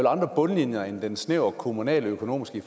andre bundlinjer end den snævert kommunaløkonomiske